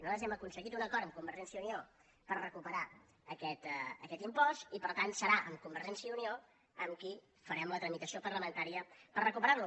nosaltres hem aconseguit un acord amb convergència i unió per recuperar aquest impost i per tant serà amb convergència i unió amb qui farem la tramitació parlamentària per recuperar lo